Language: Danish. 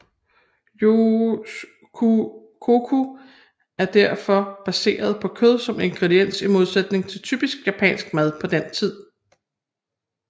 Youskoku er derfor baseret på kød som ingrediens i modsætning til den typiske japanske mad på den tid